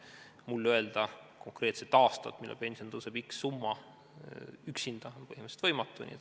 Mul öelda konkreetset aastat, millal pension tõuseb x summa võrra, on üksinda põhimõtteliselt võimatu.